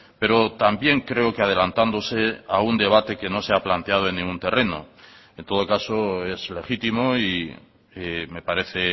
pero también creo que adelantándose a un debate que no se ha planteado en ningún terreno en todo caso es legítimo y me parece